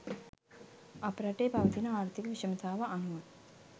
අප රටේ පවතින ආර්ථික විෂමතාව අනුව